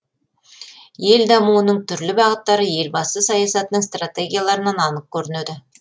ел дамуының түрлі бағыттары елбасы саясатының стратегияларынан анық көрінеді